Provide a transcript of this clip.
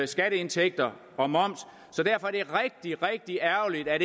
skatteindtægter og moms så derfor er det rigtig rigtig ærgerligt at